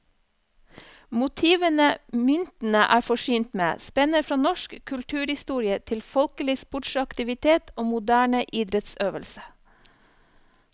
Motivene myntene er forsynt med, spenner fra norsk kulturhistorie til folkelig sportsaktivitet og moderne idrettsøvelse.